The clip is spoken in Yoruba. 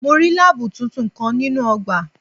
Mo rí láábù tuntun kan nínú ọgbà.